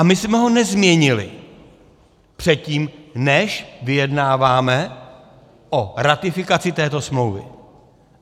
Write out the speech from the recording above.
A my jsme ho nezměnili předtím, než vyjednáváme o ratifikaci této smlouvy.